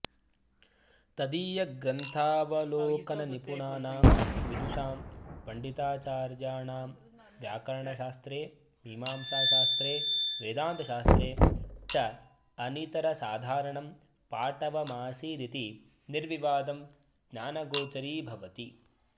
तदीयग्र्न्थावलोकननिपुणानां विदुषां पण्डिताचार्याणां व्याकरणशास्त्रे मीमांसाशास्त्रे वेदान्तशास्त्रे चानितरसाधारणं पाटवमासीदिति निर्विवादं ज्ञानगोचरीभवति